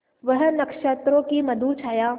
वह नक्षत्रों की मधुर छाया